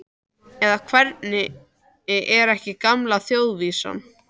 Eða, hvernig er ekki gamla þjóðvísan?